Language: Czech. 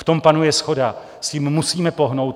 V tom panuje shoda, s tím musíme pohnout.